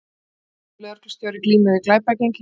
Tvítugur lögreglustjóri glímir við glæpagengi